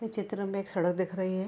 इस चित्र में एक सड़क दिख रही है।